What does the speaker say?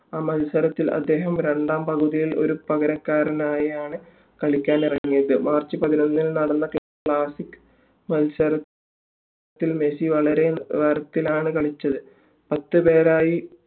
ആ മത്സരത്തിൽ അദ്ദേഹം രണ്ടാം പകുതിയിൽ ഒരു പകരക്കാരനായാണ് കളിക്കിറങ്ങിയത് march പതിനൊന്നിന് നടന്ന classic മത്സരസത്തിൽ മെസ്സി വളരെ നല്ല നിലവാരത്തിലാണ് കളിച്ചത് പത്തുപേരായി